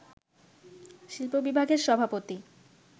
শিল্প-বিভাগের সভাপতি